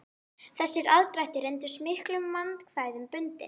Þessir aðdrættir reyndust miklum vandkvæðum bundnir.